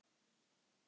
Þín Þórdís Erla.